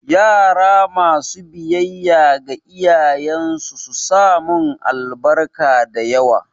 Yara masu biyayya ga iyayen su su samun albarka da yawa